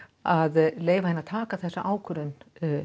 að leyfa henni að taka þessa ákvörðun